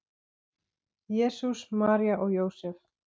Jesús, María og Jósef!